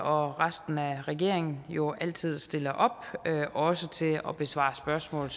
og resten af regeringen jo altid stiller op også til at besvare spørgsmål